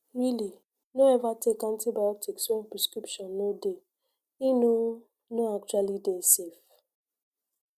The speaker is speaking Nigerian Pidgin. really no ever take antibiotics when prescription no dey e no no actually dey safe